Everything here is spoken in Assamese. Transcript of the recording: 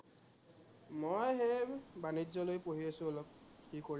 মই সেই বাণিজ্য় লৈ পঢ়ি আছো অলপ, কি কৰিম আৰু